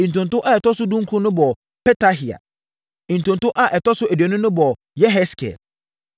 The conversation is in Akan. Ntonto a ɛtɔ so dunkron no bɔɔ Petahia. Ntonto a ɛtɔ so aduonu no bɔɔ Yeheskel.